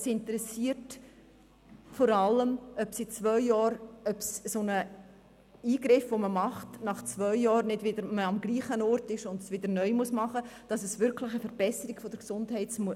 Es interessiert vor allem, ob man mit einem solchen Eingriff nach zwei Jahren nicht wieder am gleichen Ort ist und man ihn erneut machen muss, damit es wirklich zu einer Verbesserung der Gesundheit kommt.